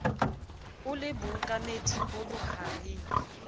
o le bookameding bo bohareng